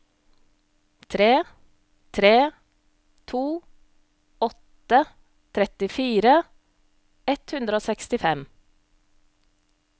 tre tre to åtte trettifire ett hundre og sekstifem